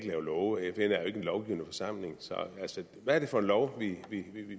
lave love fn er jo ikke en lovgivende forsamling så hvad er det for en lov